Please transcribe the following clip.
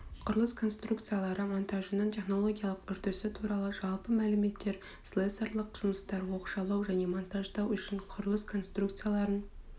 құрылыс конструкциялары монтажының технологиялық үрдісі туралы жалпы мәліметтер слесарьлық жұмыстар оқшаулау және монтаждау үшін құрылыс конструкцияларын